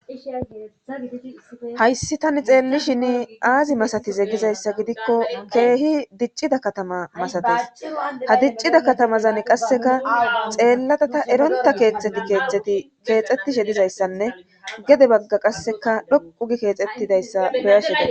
hayssi tani xeellishin aazi masatize gizayssa gidikko keehi diccida katama masates ha diccida katamazan qasseka xeellata ta eronta keexeti keexeti keexxetishe dizayssanne gede bagga qasseka dhoqu gi keexettidayssa beyasheta